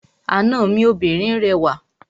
Àna mi obìnrin rẹwà.